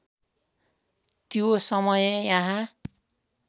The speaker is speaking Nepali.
त्यो समय यहाँ